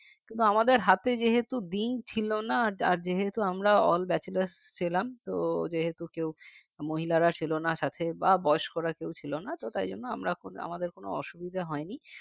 কিন্তু আমাদের হাতে যেহেতু দিন ছিল না আর যেহেতু আমরা all bachelor ছিলাম তো যেহেতু মহিলারা ছিলনা সাথে বা বয়স্করা কেউ ছিল না তো তাই জন্য আমরা ওখানে আমাদের কোন অসুবিধা হয়নি